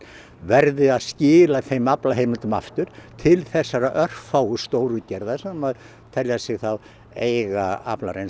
verði að skila þeim aflaheimildum aftur til þessara örfáu stórútgerða sem telja sig þá eiga